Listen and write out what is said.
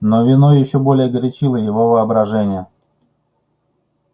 но вино ещё более горячило его воображение